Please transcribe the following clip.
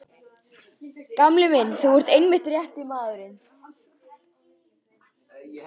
Gamli minn, þú ert einmitt rétti maðurinn.